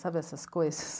Sabe essas coisas?